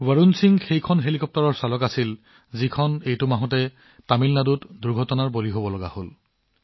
বৰুণ সিঙে এখন হেলিকপ্টাৰ উৰুৱাই আছিল যি এই মাহত তামিলনাডুত দুৰ্ঘটনাত পতিত হৈছিল